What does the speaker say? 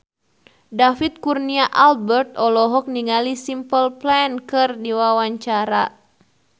David Kurnia Albert olohok ningali Simple Plan keur diwawancara